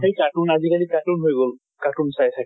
সেই cartoon আজি কালি cartoon হৈ গল। cartoon চাই থাকে।